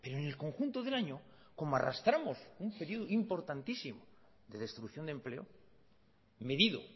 en el conjunto del año como arrastramos un período importantísimo de destrucción de empleo medido